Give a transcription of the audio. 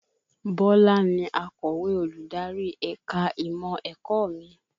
Bọlá ni akọ̀wé olùdarí ẹ̀ka ìmọ̀ ẹ̀kọ́ mi